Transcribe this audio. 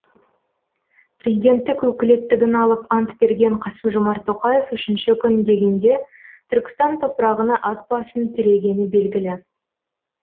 президенттік өкілеттігін алып ант берген қасым жомарт тоқаев үшінші күн дегенде түркістан топырағына ат басын тірегені белгілі